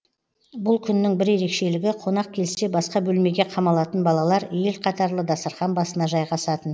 бұл күннің бір ерекшелігі қонақ келсе басқа бөлмеге қамалатын балалар ел қатарлы дастархан басына жайғасатын